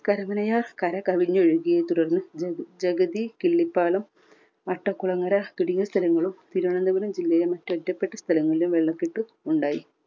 കരമനയാർ കര കവിഞ്ഞ ഒഴുകിയതിനെ തുടർന്ന് ജഗ ജഗതി കിള്ളിപ്പാലം അട്ടകുളങ്ങര തുടങ്ങിയ സ്ഥലങ്ങളും തിരുവനന്തപുരം ജില്ലയിലെ മറ്റ് ഒറ്റപ്പെട്ട സ്ഥലങ്ങളിലും വെള്ളക്കെട്ട് ഉണ്ടായി.